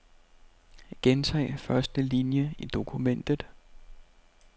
Gentag første linie i dokumentet.